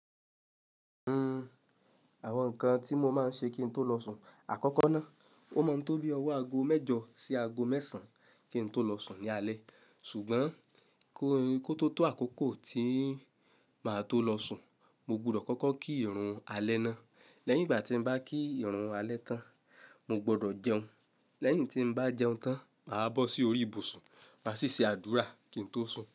Hmm, àwọn nǹkan tí mo máa ń ṣe kí n tó lọ sùn. Hmm, àwọn nǹkan tí mo máa ń ṣe kí n tó lọ sùn. Ṣùgbọ́n kó tó tó àkókò tí màá tó lọ sùn, mo gbọdọ̀ kọ́kọ́ kí ìrun alẹ́ ná. Lẹ́yìn ìgbà tí mo bá kí ìrun alẹ́ tán, mo gbọdọ̀ jẹun. Lẹ́yìn tí mo bá jẹun tán, màá bọ́ sí orí ìbùsùn máa sì ṣe àdúrà kí n tó sùn.